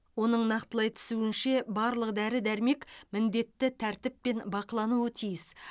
оның нақтылай түсуінше барлық дәрі дәрмек міндетті тәртіппен бақылануы тиіс